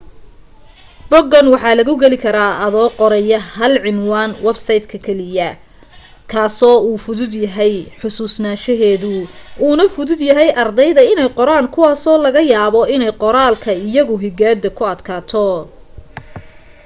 boggan waxa lagu geli karaa adoo qoraya hal ciwaan websayt keliya kaasoo uu fududyahay xasuusashadiisu una fudud ardayda inay qoraan kuwaasoo laga yaabo inay qoraalka iyo higaadu ku adkaato